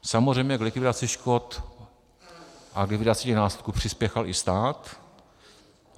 Samozřejmě k likvidaci škod a k likvidaci těch následků přispěchal i stát.